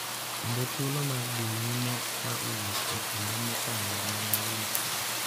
Kendo thuolo mar dhi nyime ka owuok e kinde mokalo ma ne lit.